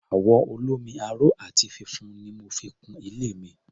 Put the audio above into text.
Àwọ̀ olómi-aró àti funfun ni mo fi kun ilé mi.